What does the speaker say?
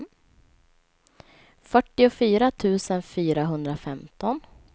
fyrtiofyra tusen fyrahundrafemton